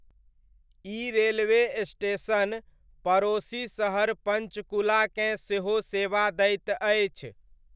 ई railway station पड़ोसी सहर पञ्चकुलाकेँ सेहो सेवा दैत अछि।